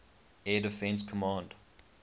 air defense command